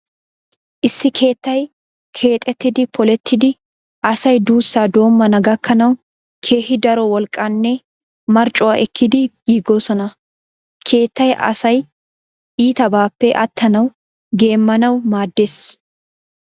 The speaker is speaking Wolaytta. Issi keettay keexettidi polettidi asay duussaa doommana gakkanawu keehi daro wolqqaanne marccuwa ekkidi giigoosona. Keettay asay iitabaappe attanawu geemmanawu maaddees.